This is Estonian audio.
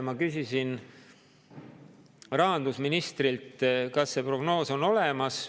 Ma küsisin rahandusministrilt, kas see prognoos on olemas.